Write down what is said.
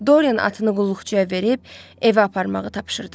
Dorian atını qulluqçuya verib evə aparmağı tapşırdı.